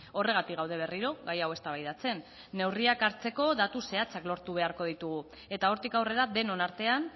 horregatik gaude berriro gai hau eztabaidatzen neurriak hartzeko datu zehatzak lortu beharko ditugu eta hortik aurrera denon artean